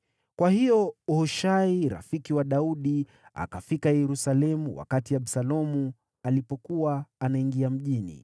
Kwa hiyo Hushai, rafiki wa Daudi, akafika Yerusalemu wakati Absalomu alipokuwa anaingia mjini.